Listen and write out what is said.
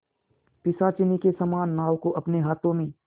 पिशाचिनी के समान नाव को अपने हाथों में